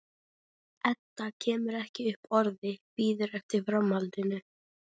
Edda kemur ekki upp orði, bíður eftir framhaldinu.